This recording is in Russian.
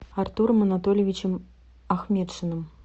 артуром анатольевичем ахметшиным